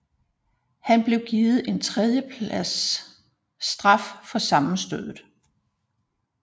Han blev givet en 3 plads straf for sammenstødet